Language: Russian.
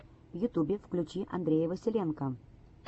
в ютубе включи андрея василенко